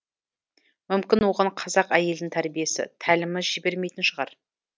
мүмкін оған қазақ әйелінің тәрбиесі тәлімі жібермейтін шығар